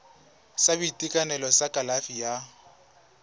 sa boitekanelo sa kalafi ya